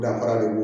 Danfara de b'u